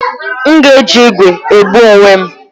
M ga-eji igwe ebu onwe m